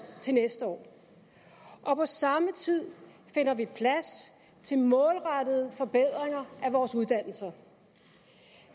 til næste år og på samme tid finder vi plads til målrettede forbedringer af vores uddannelser